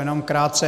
Jenom krátce.